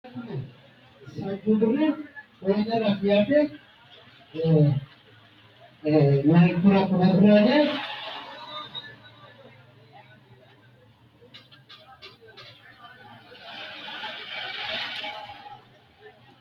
Kalaqamu bushshu hoshooshama yineemmohu mannu mittoreno assik- kinni umisi kalaqamunni ikkannoho Kalaqamu bushshu hoshooshama yineemmohu mannu mittoreno assik- kinni umisi.